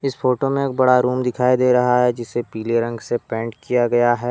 इस फोटो में एक बड़ा रूम दिखाई दे रहा है जिसे पीले रंग से पेंट किया गया है।